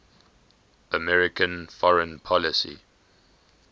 american foreign policy